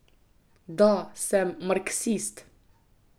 Da, sem marksist.